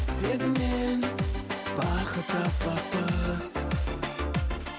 сезіммен бақыт таппақпыз